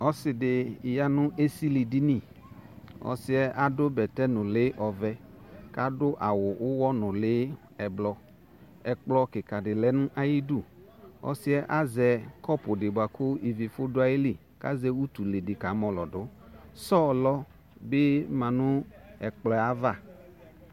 Ɔsɩ ɖɩ ƴa nʋ esiliɖiniƆsɩƴɛ aɖʋ bɛtɛ nʋlɩ ɔvɛ, ƙʋ aɖʋ awʋ ʋwɔ nʋlɩ ɛblɔƐƙplɔ ƙɩƙa ɖɩ lɛ n'aƴiɖuƆsɩɛ azɛ ƙɔpʋ ɖɩ bʋaƙʋ ivi fu ɖʋ ayili ,ƙ'azɛ utule ɖɩ ƙamɔlɔƴɩɖʋSɔlɔ bɩ ma n'ɛƙplɔɛava